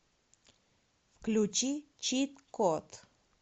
включи чит код